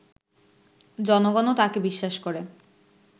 জনগণও তাঁকে বিশ্বাস করে